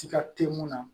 Tiga te mun na